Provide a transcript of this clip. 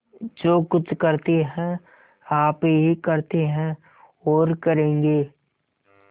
जो कुछ करते हैं आप ही करते हैं और करेंगे